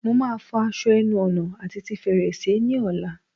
Mo máa fọ aṣọ ẹnu ọ̀nà àti ti fèrèsé ni ọ̀la